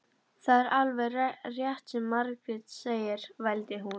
Það er alveg rétt sem Margrét segir, vældi hún.